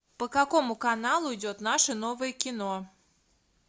по какому каналу идет наше новое кино